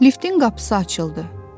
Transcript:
Liftin qapısı açıldı.